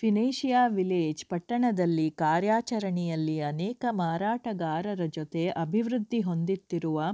ಫಿನೇಶಿಯ village ಪಟ್ಟಣದಲ್ಲಿ ಕಾರ್ಯಾಚರಣೆಯಲ್ಲಿ ಅನೇಕ ಮಾರಾಟಗಾರರ ಜೊತೆ ಅಭಿವೃದ್ಧಿ ಹೊಂದುತ್ತಿರುವ